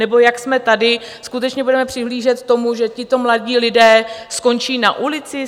Nebo, jak jsme tady, skutečně budeme přihlížet tomu, že tito mladí lidé skončí na ulici?